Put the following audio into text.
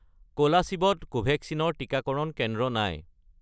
কোলাশিব ত কোভেক্সিন ৰ টিকাকৰণ কেন্দ্ৰ নাই